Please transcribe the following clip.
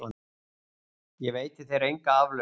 Ég veiti þér enga aflausn!